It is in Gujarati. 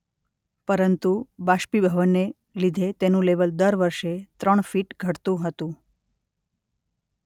પરંતુ બાષ્પીભવનને લીધે તેનુ લેવલ દર વર્ષે ત્રણ ફીટ ઘટતુ હતું.